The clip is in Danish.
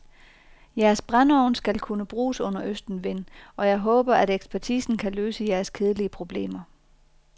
Jeres brændeovn skal kunne bruges under østenvind, og jeg håber, at ekspertisen kan løse jeres kedelige problemer.